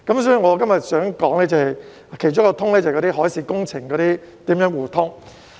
所以，我今天想說的其中一種"通"，就是海事工程如何互通。